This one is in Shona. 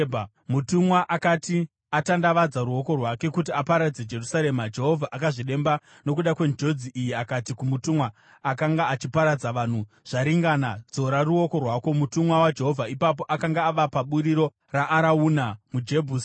Mutumwa akati atandavadza ruoko rwake kuti aparadze Jerusarema, Jehovha akazvidemba nokuda kwenjodzi iyi akati kumutumwa akanga achiparadza vanhu, “Zvaringana! Dzora ruoko rwako.” Mutumwa waJehovha ipapo akanga ava paburiro raArauna muJebhusi.